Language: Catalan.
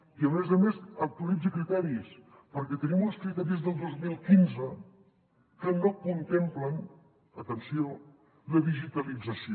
i a més a més actualitzi criteris perquè tenim uns criteris del dos mil quinze que no contemplen atenció la digitalització